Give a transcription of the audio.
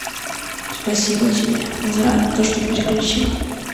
спасибо тебе за то что переключила